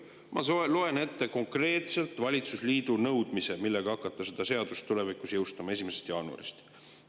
Ma loen ette konkreetselt valitsusliidu nõudmised, millega hakata seda seadust tulevikus jõustama, 1. jaanuarist.